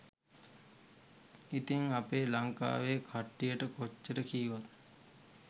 ඉතින් අපේ ලංකාවේ කට්ටියට කොච්චර කීවත්